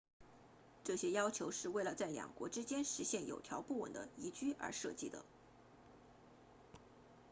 这些要求是为了在两国之间实现有条不紊的移居而设计的